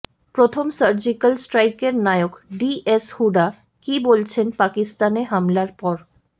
প্রথম সার্জিক্যাল স্ট্রাইকের নায়ক ডিএস হুডা কী বলছেন পাকিস্তানে হামলার পর